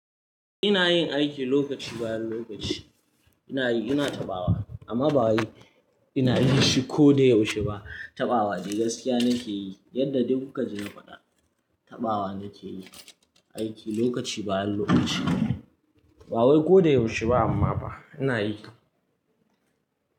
Ina yin aiki lokaci bayan lokaci. Ina yi, ina taɓawa amma ba wai ina yi shi ko da yaushe ba. Taɓawa dai gaskiya nake yi yadda dai ku kaji na faɗa. Taɓawa nake yi, aiki lokaci bayan lokaci. Ba wai ko da yaushe ba amma ba ina yi.